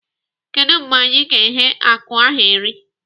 Kedụ mgbe anyị ga-eghe akụ ahụ eri?